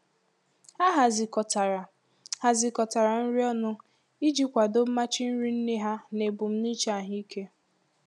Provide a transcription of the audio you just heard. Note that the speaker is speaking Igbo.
Ha hazikọtara hazikọtara nri ọnụ iji kwado mmachi nri nne ha na ebumnuche ahụike.